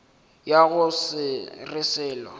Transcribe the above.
ya go se re selo